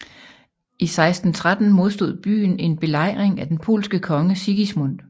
I 1613 modstod byen en belejring af den polske konge Sigismund